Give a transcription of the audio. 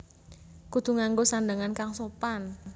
Kudu nganggo sandhangan kang sopan